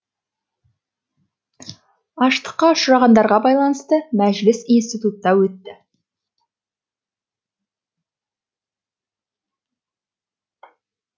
аштыққа ұшырағандарға байланысты мәжіліс институтта өтті